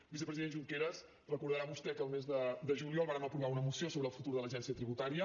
vicepresident junqueras deu recordar vostè que el mes de juliol vàrem aprovar una moció sobre el futur de l’agència tributària